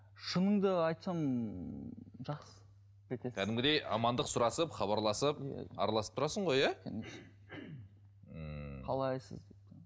шынымды айтсам кәдімгідей амандық сұрасып хабарласып араласып тұрасың ғой иә ммм қалайсыз